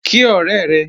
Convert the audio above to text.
Kí ọ̀rẹ́ rẹ!